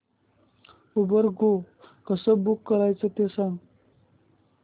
Uber go कसं book करायचं ते सांग